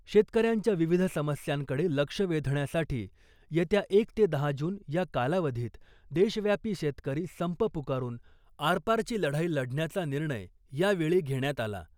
शेतकऱ्यांच्या विविध समस्यांकडे लक्ष वेधण्यासाठी येत्या एक ते दहा जून या कालावधीत देशव्यापी शेतकरी संप पुकारून आरपारची लढाई लढण्याचा निर्णय या वेळी घेण्यात आला .